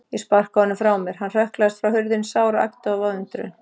Ég sparkaði honum frá mér, hann hrökklaðist frá hurðinni, sár og agndofa af undrun.